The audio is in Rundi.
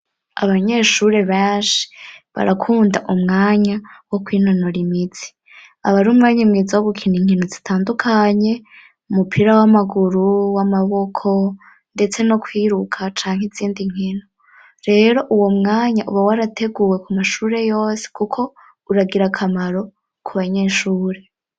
Abanyeshuri benshi barakunda umwanya wo kwinonora imitsi ,abari umwanya imwiza wo gukina inkino zitandukanye umupira w'amaguru ,w'amaboko ndetse no kwiruka canke izindi nkino, rero uwo mwanya uba warateguwe ku mashure yose kuko uragira akamaro ku banyeshure.